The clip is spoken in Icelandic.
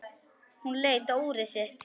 Hún leit á úrið sitt.